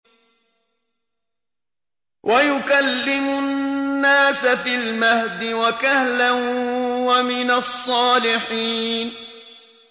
وَيُكَلِّمُ النَّاسَ فِي الْمَهْدِ وَكَهْلًا وَمِنَ الصَّالِحِينَ